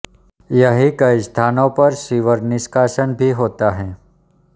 यहीं कई स्थानों पर सीवर निष्कासन भी होता है